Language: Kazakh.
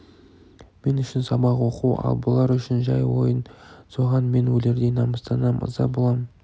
мен үшін сабақ оқу ал бұлар үшін жай ойын соған мен өлердей намыстанам ыза болам